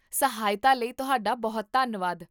ਸਹਾਇਤਾ ਲਈ ਤੁਹਾਡਾ ਬਹੁਤ ਧੰਨਵਾਦ